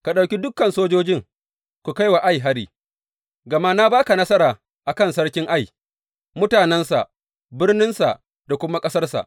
Ka ɗauki dukan sojojin ku kai wa Ai hari, gama na ba ka nasara a kan sarkin Ai, mutanensa, birninsa da kuma ƙasarsa.